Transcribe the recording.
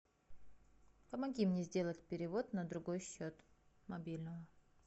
помоги мне сделать перевод на другой счет мобильного